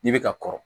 N'i bɛ ka kɔrɔ